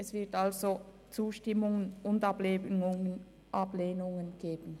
Es wird Zustimmungen und Ablehnungen geben.